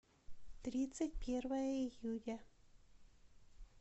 тридцать первое июня